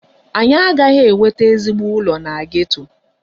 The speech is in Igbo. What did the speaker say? Anyị agaghị enweta ezigbo ụlọ na geto.